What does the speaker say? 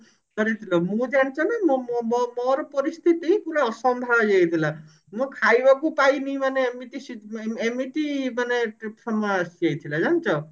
ମୁଁ ଜାଣିଛ ନା ମୋ ମୋ ମୋ ମୋର ପରିସ୍ଥିତି ପୁରା ଅସମ୍ଭାଳ ହେଇ ଯାଇଥିଲା ମୁଁ ଖାଇବାକୁ ପାଇନି ମାନେ ଏମିତି ସି ଏମିତି ମାନେ ସମୟ ଆସି ଯାଇଥିଲା ଜାଣିଛ